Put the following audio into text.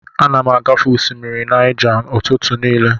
Ana m agafe osimiri Naija ụtụtụ niile.